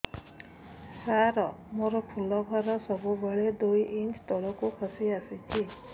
ସାର ମୋର ଫୁଲ ଘର ସବୁ ବେଳେ ଦୁଇ ଇଞ୍ଚ ତଳକୁ ଖସି ଆସିଛି